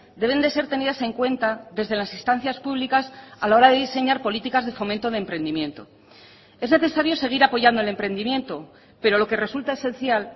deben de ser tenidas en cuenta desde las instancias públicas a la hora de diseñar políticas de fomento de emprendimiento es necesario seguir apoyando el emprendimiento pero lo que resulta esencial